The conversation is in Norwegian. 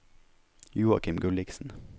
Joakim Gulliksen